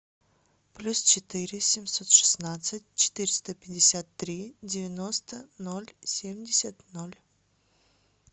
плюс четыре семьсот шестнадцать четыреста пятьдесят три девяносто ноль семьдесят ноль